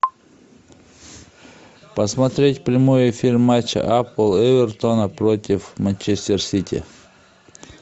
посмотреть прямой эфир матча апл эвертона против манчестер сити